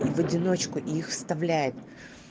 и в одиночку их составляет